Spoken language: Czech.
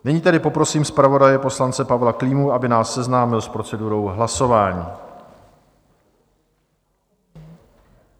Nyní tedy poprosím zpravodaje poslance Pavla Klímu, aby nás seznámil s procedurou hlasování.